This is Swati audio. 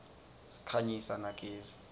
sikhanyisa na gezi